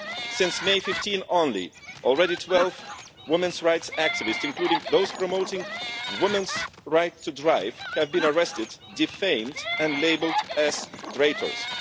Since 15 May only, already 12 women's rights activists, including those promoting women's right to drive, have been arrested, defamed and labelled as traitors.